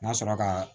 N ka sɔrɔ ka